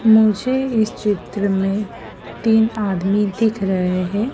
मुझे इस चित्र में तीन आदमी दिख रहे हैं।